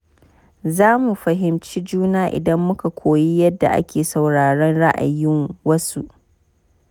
Za mu fahimci juna idan muka koyi yadda ake sauraron ra’ayin wasu.